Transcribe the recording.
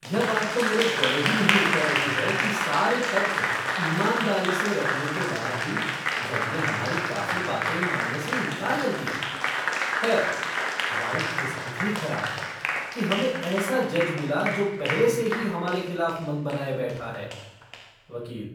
यह बात तो मेरे गले ही नहीं उतर रही है कि सारे तथ्य ईमानदारी से रखने के बाद भी, जज ने हमारी काफी बातें मानने से इनकार कर दिया। खैर, हमारी किस्मत ही खराब है कि हमें ऐसा जज मिला जो पहले से ही हमारे खिलाफ मन बनाए बैठा है। वकील